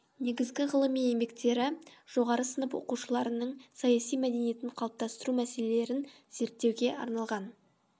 негізгі ғылыми еңбектері жоғары сынып оқушынарының саяси мәдениетін қалыптастыру мәселелерін зерттеуге арналған